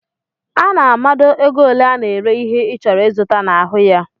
Ana a mado égo ole ana ere ihe i chọrọ izụta n'ahụ ya.